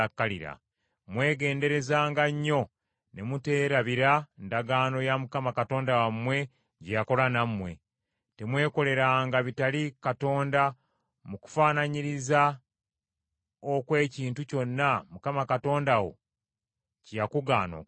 Mwegenderezanga nnyo ne muteerabira ndagaano ya Mukama Katonda wammwe gye yakola nammwe. Temwekoleranga bitali Katonda mu kufaanaanyiriza okw’ekintu kyonna Mukama Katonda wo kye yakugaana okukola.